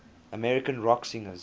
american rock singers